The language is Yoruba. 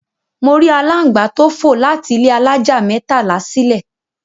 Mo rí aláǹgbá tó fò láti ilé alájà mẹ́tàlá sílè.